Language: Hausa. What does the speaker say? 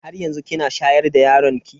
Haryanzu kina shayar da yaron ki?